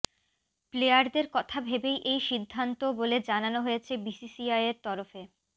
প্লেয়ারদের কথা ভেবেই এই সিদ্ধান্ত বলে জানানো হয়েছে বিসিসিআইয়ের তরফে